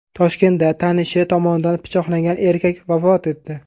Toshkentda tanishi tomonidan pichoqlangan erkak vafot etdi.